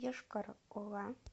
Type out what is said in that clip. йошкар ола